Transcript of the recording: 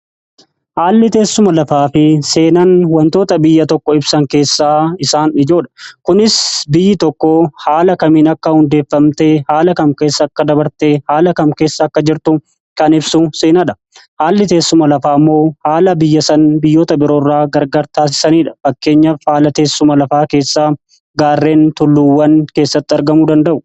Haalli teessuma lafaa fi seenaan wantoota biyya tokko ibsan keessaa isaan ijoodha kunis biyyi tokko haala kamiin akka hundeeffamtee, haala kam keessa akka dabarte, haala kam keessa akka jirtu, kan ibsu seenaadha. haalli teessuma lafaa ammoo haala biyya san biyyoota biroo irra gargar taasisaniidha. Fakkeenyafi haala teessuma lafaa keessaa gaarreen tulluuwwan keessatti argamu danda'u.